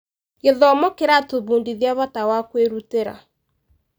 Gĩthomo nĩkĩratũbundithia bata wa kwĩrutĩra?